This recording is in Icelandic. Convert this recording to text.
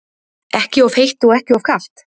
Ekki of heitt og ekki of kalt?